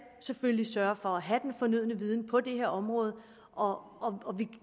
selvfølgelig sørge for at have den fornødne viden på det her område og og vi